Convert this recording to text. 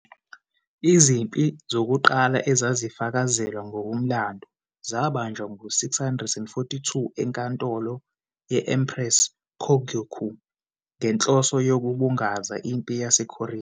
Izimpi zokuqala ezazifakazelwa ngokomlando zabanjwa ngo-642 enkantolo ye-Empress Kōgyoku ngenhloso yokubungaza impi yaseKorea.